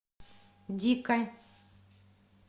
дика